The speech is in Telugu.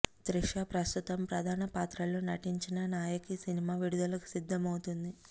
త్రిష ప్రస్తుతం ప్రధాన పాత్రలో నటించిన నాయకి సినిమా విడుదలకు సిద్దమవుతుంది